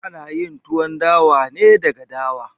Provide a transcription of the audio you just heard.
Ana yin Tuwon dawa ne daga dawa.